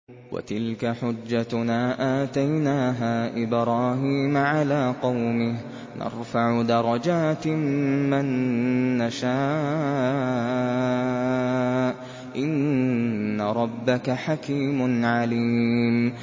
وَتِلْكَ حُجَّتُنَا آتَيْنَاهَا إِبْرَاهِيمَ عَلَىٰ قَوْمِهِ ۚ نَرْفَعُ دَرَجَاتٍ مَّن نَّشَاءُ ۗ إِنَّ رَبَّكَ حَكِيمٌ عَلِيمٌ